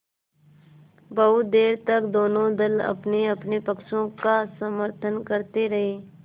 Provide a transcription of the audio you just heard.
बहुत देर तक दोनों दल अपनेअपने पक्ष का समर्थन करते रहे